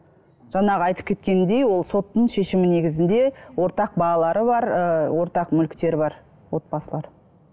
жаңағы айтып кеткендей ол соттың шешімі негізінде ортақ балалары бар ыыы ортақ мүліктері бар отбасылар